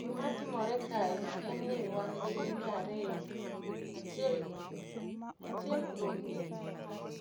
Gima timore kae en ni wan gi mine ariyo. Achiel, achiel kuom gi